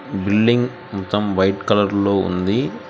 Building మొత్తం white colour లో ఉంది.